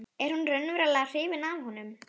Er hún raunverulega hrifin af honum?